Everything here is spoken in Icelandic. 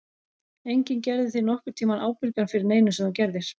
Enginn gerði þig nokkurn tímann ábyrgan fyrir neinu sem þú gerðir.